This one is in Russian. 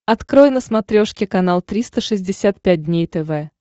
открой на смотрешке канал триста шестьдесят пять дней тв